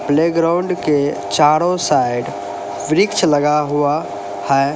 Playground के चारों side वृक्ष लगा हुआ है।